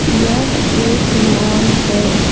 यह एक मॉल है।